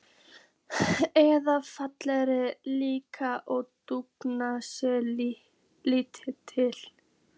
eða fellingar líkt og dúk sé ýtt til.